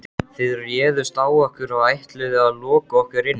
Þið réðust á okkur og ætluðuð að loka okkur inni.